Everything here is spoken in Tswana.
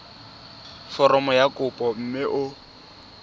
foromo ya kopo mme o